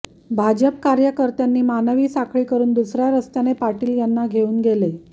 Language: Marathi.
भाजप कार्यकर्त्यांनी मानवी साखळी करून दुसऱ्या रस्त्याने पाटील यांना घेऊन गेले